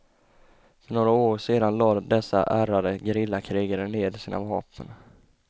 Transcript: För några år sedan lade dessa ärrade gerillakrigare ned sina vapen.